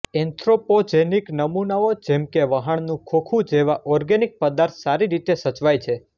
anthropogenic નમૂનાઓ જેમ કે વહાણનું ખોખું જેવા ઑર્ગેનિક પદાર્થ સારી રીતે સચવાય છે